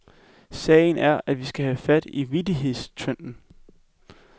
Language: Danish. Sagen er, at vi skal have fat i vittighedstrenden.